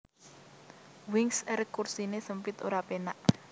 Wings Air kursine sempit ora penak